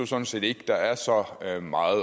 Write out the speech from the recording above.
sådan set ikke der er så meget meget